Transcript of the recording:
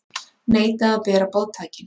Neita að bera boðtækin